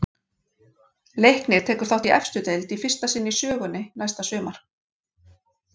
Leiknir tekur þátt í efstu deild í fyrsta sinn í sögunni næsta sumar.